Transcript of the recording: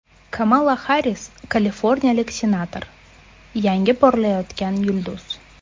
Kamala Harris Kaliforniyalik senator, yangi porlayotgan yulduz.